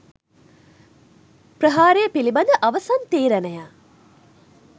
ප්‍රහාරය පිළිබඳ අවසන් තීරණය